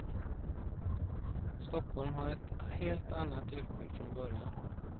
Stockholm har ett helt annat utbud från början.